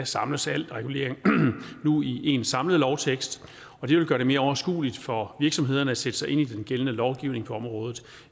samles al regulering nu i en samlet lovtekst og det vil gøre det mere overskueligt for virksomhederne at sætte sig ind i den gældende lovgivning på området